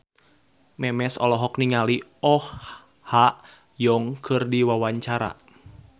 Memes olohok ningali Oh Ha Young keur diwawancara